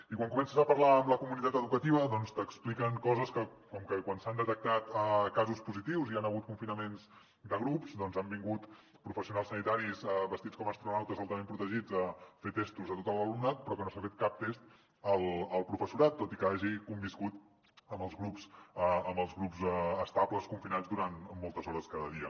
i quan comences a parlar amb la comunitat educativa t’expliquen coses com que quan s’han detectat casos positius i hi han hagut confinaments de grups doncs han vingut professionals sanitaris vestits com astronautes altament protegits a fer testos a tot l’alumnat però que no s’ha fet cap test al professorat tot i que hagi conviscut amb els grups estables confinats durant moltes hores cada dia